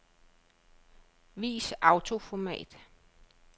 Vis autoformat.